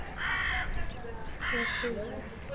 Ég trúi.